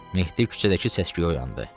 Mehdi küçədəki səsküyə oyandı.